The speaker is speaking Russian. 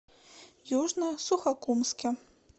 южно сухокумске